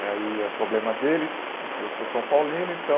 E aí é problema deles, porque eu sou São Paulino, então...